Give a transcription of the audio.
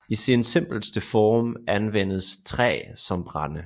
I sin simpleste form anvendes træ som brænde